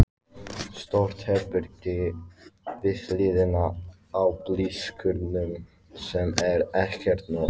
Stórt herbergi við hliðina á bílskúrnum sem er ekkert notað.